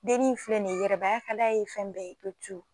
Dennin ni filɛ nin ye yɛrɛbaya ka d'a ye fɛn bɛɛ ye tu tu